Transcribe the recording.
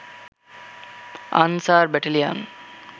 answer battalion